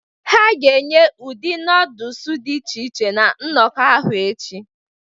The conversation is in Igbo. Ha ga-enye ụdị noodles dị iche iche na nnọkọ ahụ echi